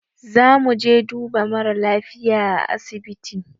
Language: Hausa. Zamuje duba mara lafiya a asibiti